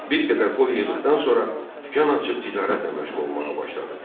Bir qədər pul yığdıqdan sonra dükan açıb ticarətlə məşğul olmağa başladı.